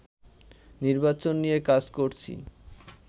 নির্বাচন নিয়ে কাজ করছি